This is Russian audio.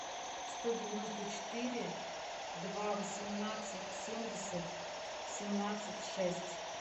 сто девяносто четыре два восемнадцать семьдесят семнадцать шесть